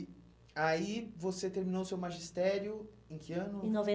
aí você terminou o seu magistério em que ano? Em